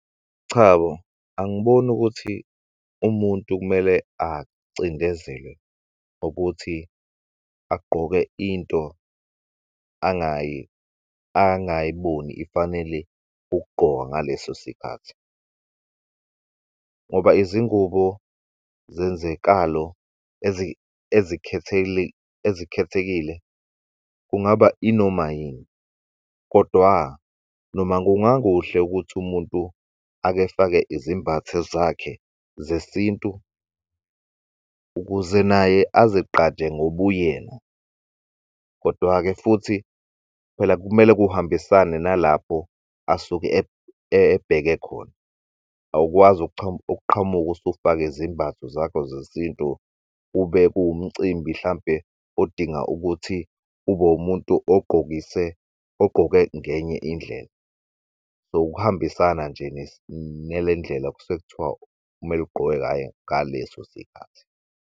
Cha bo, angiboni ukuthi umuntu kumele acindezelwe ukuthi agqoke into angayiboni ifanele ukugqokwa ngaleso sikhathi. Ngoba izingubo zenzekalo ezikhethekile kungaba inoma yini kodwa noma kungakuhle ukuthi umuntu akefake izembatho zakhe zesintu ukuze naye azegqaje ngobuyena. Kodwa-ke futhi phela kumele kuhambisane nalapho asuke ebheke khona. Awukwazi uqhamuk'usufake izembatho zakho zesintu kube kuwumcimbi hlampe odinga ukuthi ubewumuntu ogqokise ogqoke ngeny'indlela. So ukuhambisana nje nelendlela kusuke kuthiwa kumele ugqoke ngayo ngaleso sikhathi.